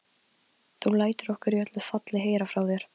Þú lætur okkur í öllu falli heyra frá þér.